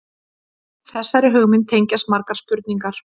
Þessari hugmynd tengjast margar spurningar.